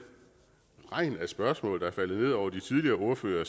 regn af spørgsmål der er faldet ned over de tidligere ordførere